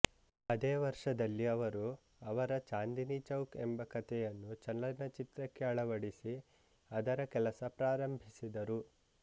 ಅದೇ ವರ್ಷದಲ್ಲಿ ಅವರು ಅವರ ಚಾಂದನಿ ಚೌಕ್ ಎಂಬ ಕಥೆಯನ್ನು ಚಲನಚಿತ್ರಕ್ಕೆ ಅಳವಡಿಸಿ ಅದರ ಕೆಲಸವನ್ನು ಪ್ರಾರಂಭಿಸಿದರು